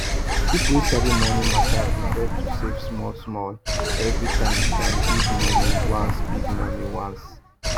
people wey sabi money matter prefer to save smallsmall every time than big money once big money once